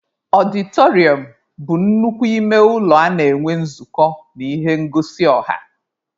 Ọdịtọrịọm bụ nnukwu ime ụlọ a na-enwe nzukọ na ihe ngosi ọha.